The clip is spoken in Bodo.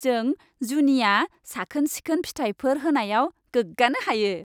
जों जुनिया साखोन सिखोन फिथायफोर होनायाव गोग्गानो हायो।